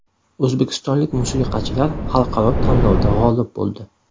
O‘zbekistonlik musiqachilar xalqaro tanlovda g‘olib bo‘ldi.